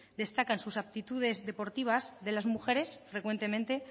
destacan sus aptitudes deportivas de las mujeres frecuentemente